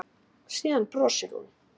Síðan brosir hún.